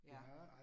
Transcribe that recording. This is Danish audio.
Ja